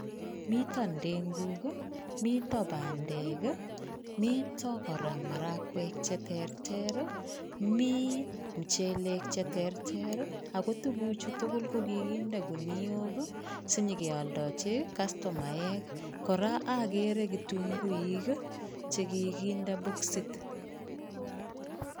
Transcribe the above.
Mito ndenguk ii, mito bandeek ii, mito kora marakwek che terter ii, mi mchelek che terter ii, ako tuguchu tugul ko kikinde guniok ii, si nyikealdochi kastomaek , kora akere kitunguik che kikinde boksit.